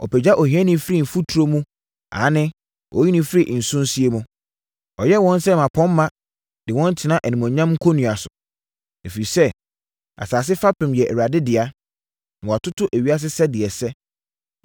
Ɔpagya ohiani firi mfuturo mu aane, ɔyi no firi nsosie mu; ɔyɛ wɔn sɛ mmapɔmma de wɔn tena animuonyam nkonnua so. “Ɛfiri sɛ, asase fapem yɛ Awurade dea, na watoto ewiase sɛdeɛ ɛsɛ.